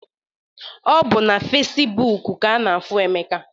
Ọbụ na Fecibuuku ka ana-afụ Emeka.